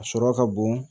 A sɔrɔ ka bon